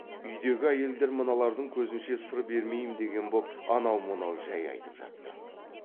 үйдегі әйелдер мыналардың көзінше сыр бермеймін деген боп анау мынау жай айтып жатты